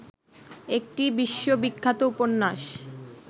একটি বিশ্ববিখ্যাত উপন্যাস